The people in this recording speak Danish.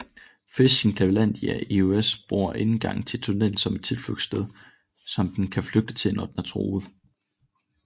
Fisken Clevelandia ios bruger indgangen til tunnelen som et tilflugtssted som den kan flygte til når den er truet